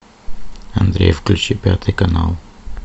андрей включи пятый канал